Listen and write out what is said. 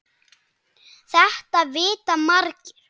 Þetta vita margir.